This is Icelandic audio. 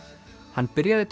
hann byrjaði